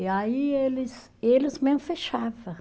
E aí eles, eles mesmo fechava